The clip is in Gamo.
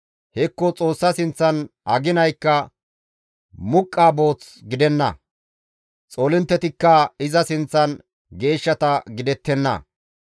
Hekko Xoossa sinththan aginaykka muqqa booth gidenna; xoolinttetikka iza sinththan geeshshata gidettenna.